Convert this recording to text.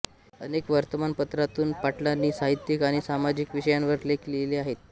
अनेक वर्तमानपत्रांतून पाटलांनी साहित्यिक आणि सामाजिक विषयांवर लेख लिहिले आहेत